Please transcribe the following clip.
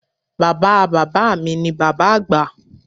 Bàbáa Bàbá mi ni Bàbá Àgbà